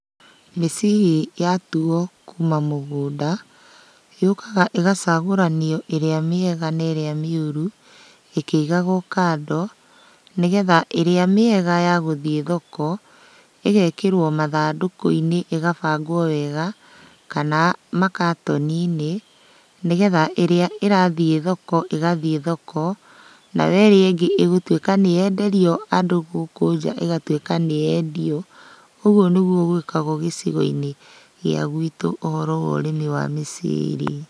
Mĩciri yatuo kuma mũgũnda, yũkaga ĩgacagũranio ĩrĩa mĩega na ĩrĩa mĩũru, ĩkĩigagũo kando, nĩgetha ĩrĩa mĩega ya gũthiĩ thoko, ĩgekĩrwo mathandũkũ-inĩ ĩgabagwo wega, kana makatoni-inĩ, nĩgetha ĩrĩa ĩrathiĩ thoko ĩgathiĩ thoko, nayo ĩrĩa ĩngĩ ĩgũtuĩka nĩyenderio andũ gũkũ nja ĩgatuĩka nĩyendio. Ũguo nĩguo gwĩkagũo gĩcigo-inĩ gĩa gwitũ ũhoro wa ũrĩmi wa mĩciri.